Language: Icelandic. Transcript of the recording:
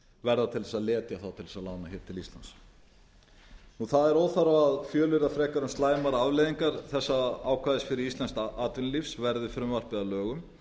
verða til þess að letja þá til þess að lána hér til íslands óþarfi er að fjölyrða um slæmar afleiðingar þessa ákvæðis fyrir íslenskt atvinnulíf verði frumvarpið að lögum